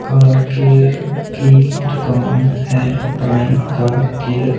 car care की दुकान है प्राईम कार केयर --